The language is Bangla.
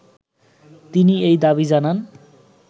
তিনি এ দাবি জানান